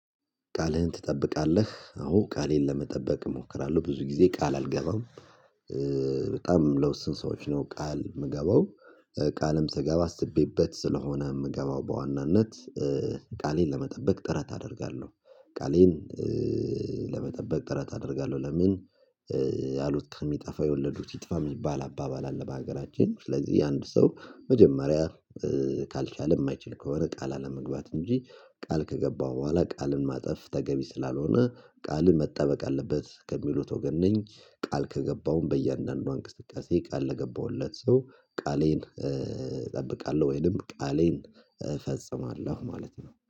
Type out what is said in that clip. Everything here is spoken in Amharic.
ቃልህን ትጠብቃለህ? አዎ ቃሌን ለመጠበቅ እሞክራለሁ ብዙ ጊዜ ቃል አልገባም። በጣም ለውስን ሰዎች ነው ቃል ምገባው። ቃልም ስገባ አስቤበት ስለሆነ ምገባው በዋናነት። ቃሌን ለመጠበቅ ጥረት አደርጋለሁ ቃሌን ለመጠበቅ ጥረት አደርጋለሁ። ለምን? ያሉት ከሚጠፋ የወለዱት ይጥፋ ሚባል አባባል አለ። በሀገራችን ስለዚህ የአንድ ሰው መጀመሪያ ካልቻለ የማይችል ከሆነ ቃል አለመግባት እንጂ ቃል ከገባው በኋላ ቃልን ማጠፍ ተገቢ ስላልሆነ ቃል መጠበቅ አለበት ከሚሉት ወገን ነኝ። ቃል ከገባውም በእያንዳንዷ እንቅስቃሴ ቃል ለገባሁለት ሰው ቃሌን እጠብቃለሁ ወይንም ቃሌን እፈጽማለሁ ማለት ነው